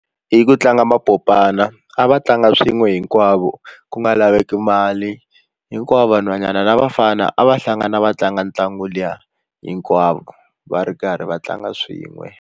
Hi ku tlanga mapopana a va tlanga swin'we hinkwavo ku nga laveki mali hinkwavo vanhwanyana na vafana a va hlangana va tlanga ntlangu liya hinkwavo va ri karhi va tlanga swin'we.